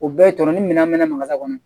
O bɛɛ ye tɔnɔ ni minan mɛ maga kɔnɔ